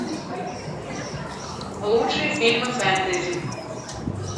лучшие фильмы фэнтези